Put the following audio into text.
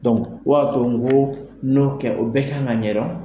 o ya to n ko n' kɛ o bɛ kan ka ɲɛdon.